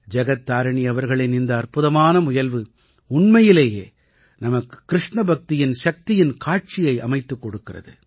ஜகத் தாரிணீ அவர்களின் இந்த அற்புதமான முயல்வு உண்மையிலேயே நமக்கு கிருஷ்ண பக்தியின் சக்தியின் காட்சியை அமைத்துக் கொடுக்கிறது